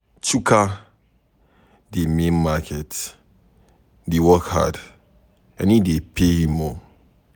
Chuka dey main market dey work hard and e dey pay him.